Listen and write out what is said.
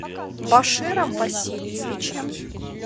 баширом васильевичем